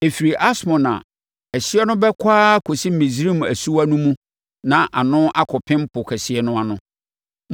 Ɛfiri Asmon a, ɛhyeɛ no bɛkɔ ara akɔsi Misraim asuwa no mu na ano akɔpem Po Kɛseɛ no ano.